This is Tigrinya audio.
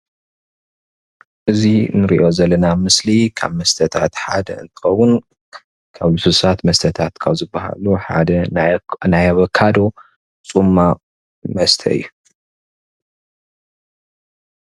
እዙይ እንሪኦ ዘለና ምስሊ ካብ መስተታት ሓደ እንትኸውን ከብ ሉስሉሳት መስተታት ካብ ዝበሃሉ ሐደ ናይ ኣቮካዶ ፅሟቅ መስተ እዩ።